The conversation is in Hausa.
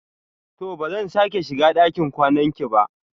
To! ba zan sake shiga ɗakin kwanan ki ba.